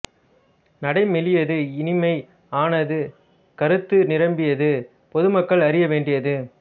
நடை மெலியது இனிமை ஆனது கருத்து நிரம்பியது பொதுமக்கள் அறிய வேண்டியது